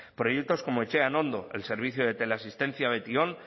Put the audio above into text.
proyectos como etxean ondo el servicio de teleasistencia beti on